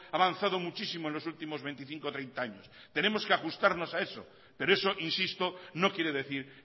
ha avanzado muchísimo en los últimos veinticinco treinta años tenemos que ajustarnos a eso pero eso insisto no quiere decir